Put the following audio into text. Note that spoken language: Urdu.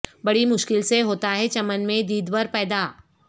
بڑی مشکل سے ہوتا ہے چمن میں دیدور پیدا